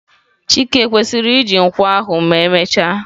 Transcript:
chike kwesiri iji nkwọ ahu emechaa?